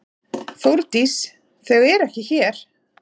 Þórdís: Þau eru ekki hér.